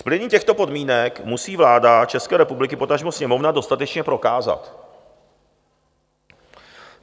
- Splnění těchto podmínek musí vláda České republiky, potažmo Sněmovna, dostatečně prokázat.